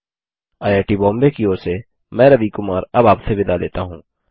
IIT Bombay की ओर से मैं रवि कुमार अब आपसे विदा लेता हूँ